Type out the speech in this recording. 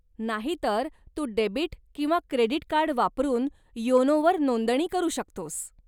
नाहीतर तू डेबिट किंवा क्रेडिट कार्ड वापरुन योनोवर नोंदणी करू शकतोस.